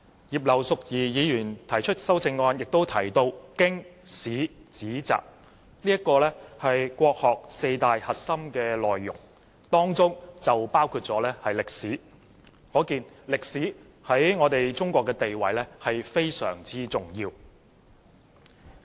葉劉淑儀議員的修正案提到"經史子集"四大核心內容，當中包括歷史，可見歷史在中國的地位非常重要。